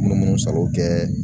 Munumunu salo kɛ